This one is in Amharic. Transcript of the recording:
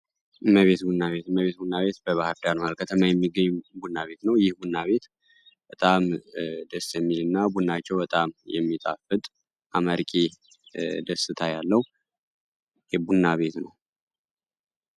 እመቤት ቡና ቤት እመቤት ቡና ቤት በባህርዳር መሀል ሀከተማ የሚገኝ ቡና ቤት ነው። ይህ ቡና ቤት በጣም ደስ የሚል እና ልቡናቸው በጣም የሚጣፍት አመርቂ ደስታ ያለው የቡና ቤት ነው።